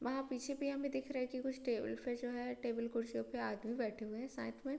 वहां पीछे भी हमे दिख रहा है की कुछ टेबल पे जो है टेबल कुर्सियों पे आदमी बैठे हुए हैं साथ में।